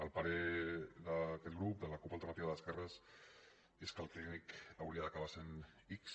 el parer d’aquest grup de la cup alternativa d’esquerres és que el clínic hauria d’acabar sent ics